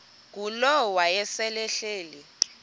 ngulowo wayesel ehleli